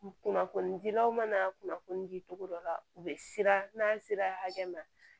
Kunnafonidilaw mana kunnafoni di cogo dɔ la u be siran n'a sera hakɛ ma